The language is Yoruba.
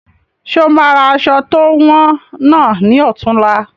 Ṣe o máa ra aṣọ to wọn náà ni ọ̀tunla?